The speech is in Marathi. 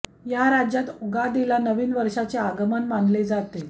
या राज्यात उगादीला नवीन वर्षाचे आगमन मानले जाते